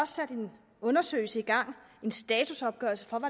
sat en undersøgelse i gang en statusopgørelse om